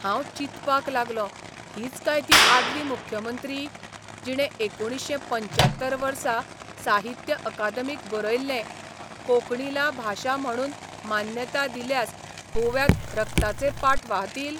हांव चिंतपाक लागलों हीच काय ती आदली मुख्यमंत्री, जिणे एकुणशे पंच्यात्तर वर्सा साहित्य अकादमीक बरयल्लें, 'कोंकणीला भाषा म्हणून मान्यता दिल्यास गोव्यात रक्ताचे पाट वाहतील '?